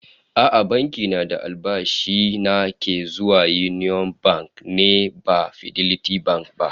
A'a, banki na da albashi na ke zuwa Union Bank ne ba Fidelity Bank ba